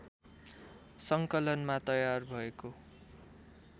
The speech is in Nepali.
सङ्कलनमा तयार भएको